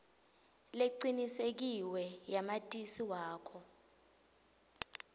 lecinisekisiwe yamatisi wakho